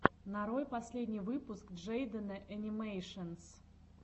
нарой последний выпуск джейдена энимэйшенс